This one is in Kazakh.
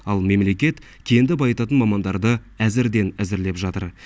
ал мемлекет кенді байытатын мамандарды әзірден әзірлеп жатыр